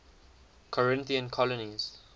corinthian colonies